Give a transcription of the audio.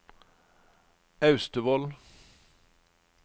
Austevoll